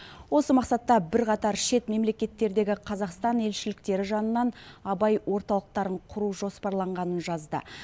осы мақсатта бірқатар шет мемлекеттердегі қазақстан елшіліктері жанынан абай орталықтарын құру жоспарланғанын жазды